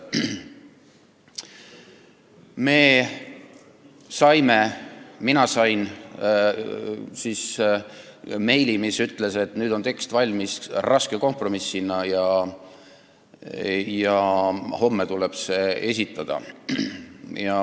Me saime meili, st mina sain meili, mis ütles, et nüüd on tekst valmis, raske kompromissina, ja homme tuleb see esitada.